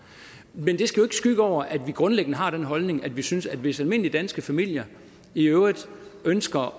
men det skal jo skygge over at vi grundlæggende har den holdning at vi synes at hvis almindelige danske familier i øvrigt ønsker